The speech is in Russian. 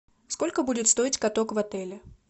сколько будет стоить каток в отеле